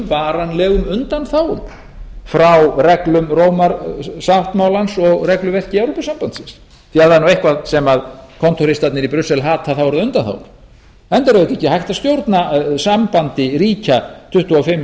varanlegum undanþágum frá reglum rómarsáttmálans og regluverki evrópusambandsins því að ef það er nú eitthvað sem kontóristarnir í brussel hata þá eru það undanþágur enda er auðvitað ekki hægt að stjórna sambandi ríkja tuttugu og fimm